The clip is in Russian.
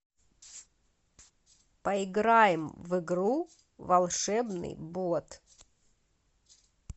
поиграем в игру волшебный бот